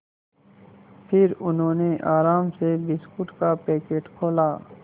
फिर उन्होंने आराम से बिस्कुट का पैकेट खोला